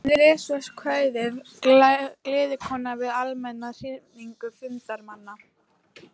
Hann les svo kvæðið Gleðikonan við almenna hrifningu fundarmanna.